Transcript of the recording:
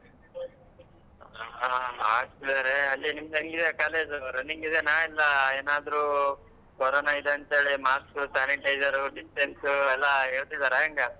ಹಾ ಹಾಕ್ತಿದಾರೆ ಅಲ್ಲಿ ನಿಮ್ದು ಹೆಂಗ್ ಇದೆ college ಉ running ಇದೇನಾ ಇಲ್ಲಾ ಏನಾದ್ರೂ ಕೊರೋನಾ ಇದೆ ಅಂತೇಳಿ mask sanitizer distance ಎಲ್ಲಾ ಹೇಳ್ತಿದಾರ ಹೆಂಗ.